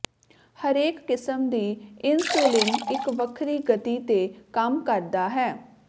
ਹਰੇਕ ਕਿਸਮ ਦੀ ਇਨਸੁਲਿਨ ਇੱਕ ਵੱਖਰੀ ਗਤੀ ਤੇ ਕੰਮ ਕਰਦਾ ਹੈ